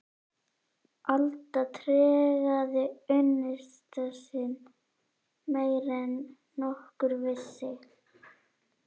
Alda tregaði unnusta sinn meira en nokkur vissi.